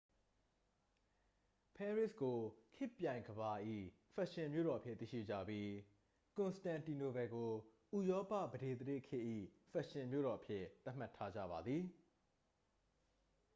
ပဲရစ်ကို ခေတ်ပြိုင်ကမ္ဘာ၏ ဖက်ရှင်မြို့တော်အဖြစ် သိရှိကြပြီး ကွန်စတန်တီနိုပယ်ကို ဥရောပ ပဒေသရာဇ်ခေတ်၏ ဖက်ရှင်မြို့တော်အဖြစ် သတ်မှတ်ထားကြပါသည်